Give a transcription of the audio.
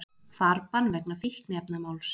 Farbann vegna fíkniefnamáls